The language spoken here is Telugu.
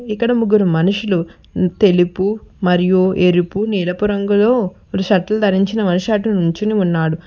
ఇక్కడ ముగ్గురు మనుషులు తెలుపు మరియు ఎరుపు ఎరుపు రంగులో షర్ట్ ధరించిన మనిషి అటు నించొని ఉన్నాడు.